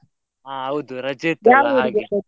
ಹಾ ಹೌದು ರಜೆ ಇತ್ತಲ್ಲ.